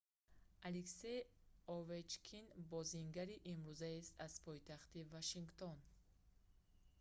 алексей овечкин бозингари имрӯзаест аз пойтахти вашингтон